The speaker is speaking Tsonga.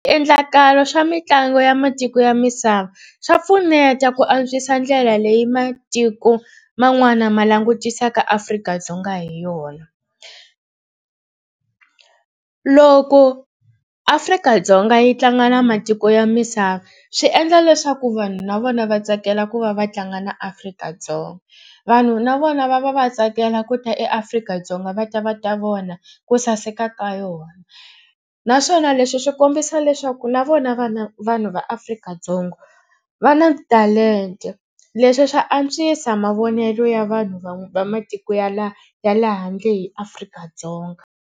Swiendlakalo swa mitlangu ya matiko ya misava swa pfuneta ku antswisa ndlela leyi matiko man'wana ma langutisaka Afrika-Dzonga hi yona. Loko Afrika-Dzonga yi tlanga na matiko ya misava swi endla leswaku vanhu na vona va tsakela ku va va tlanga na Afrika-Dzonga. Vanhu na vona va va va tsakela ku ta eAfrika-Dzonga va ta va ta vona ku saseka ka yona naswona leswi swi kombisa leswaku na vona va na vanhu va Afrika-Dzonga va na talenta. Leswi swa antswisa mavonelo ya vanhu va matiko ya la ya le handle hi Afrika-Dzonga.